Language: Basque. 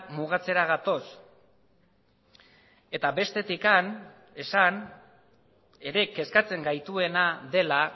mugatzera gatoz eta bestetik esan ere kezkatzen gaituena dela